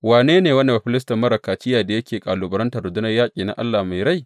Wane ne wannan bafilistin marar kaciya da yake kalubalantar rundunar yaƙi na Allah mai rai?